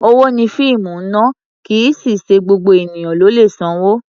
Owó ni fíìmù ná, kì í sì í ṣe gbogbo ènìyàn ló lè sanwó.